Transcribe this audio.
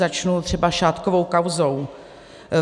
Začnu třeba šátkovou kauzou.